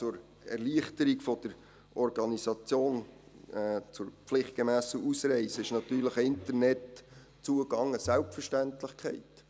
Zur Erleichterung der Organisation zur pflichtgemässen Ausreise ist natürlich ein Internetzugang eine Selbstverständlichkeit.